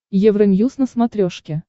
евроньюз на смотрешке